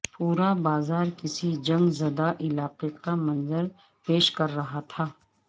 پورا بازار کسی جنگ زدہ علاقے کا منظر پیش کر رہا تھا